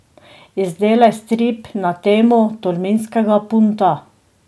Izdelaj strip na temo tolminskega punta.